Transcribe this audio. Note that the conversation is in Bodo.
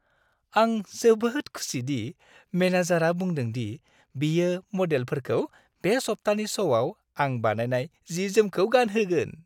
आं जोबोद खुसि दि मेनेजारआ बुंदों दि बियो मडेलफोरखौ बे सप्तानि श'आव आं बानायनाय जि-जोमखौ गानगोहोन।